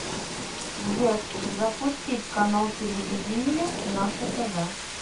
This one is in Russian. сбер запустить канал телевидения наше тв